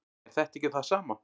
er þetta ekki það sama